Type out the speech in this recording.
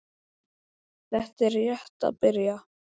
Þetta er rétt að byrja